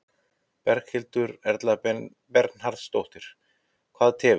Berghildur Erla Bernharðsdóttir: Hvað tefur?